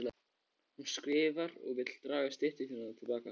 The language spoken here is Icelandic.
Hún skrifar og vill draga styttu sína til baka.